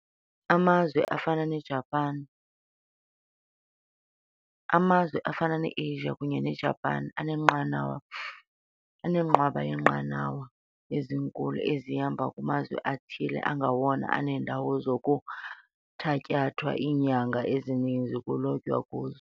Amazwe afana ne-Russia, kunyeneJapan, anenqwaba yeenqanawa ezinkulu ezihamba kumazwe athile angawona aneendawo kunokuthatyathwa iinyanga ezininzi kulotywa kuzo.